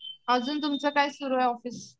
अजून तुमचं काय सुरु ये ऑफिस